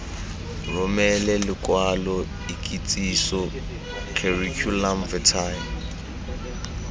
romele lokwalo ikitsiso curriculum vitae